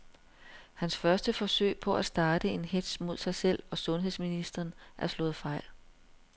Hans første forsøg på at starte en hetz mod sig selv og sundheds ministeren er slået fejl.